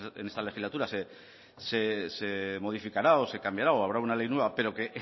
en esta legislatura se modificará o se cambiará o habrá una ley nueva pero que